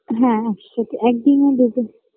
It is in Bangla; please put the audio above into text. হ্যাঁ একসাথে একদিনে দুটো